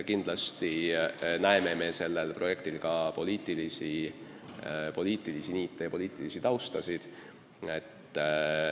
Kindlasti me näeme selle projekti puhul ka poliitilisi niite ja poliitilist tausta.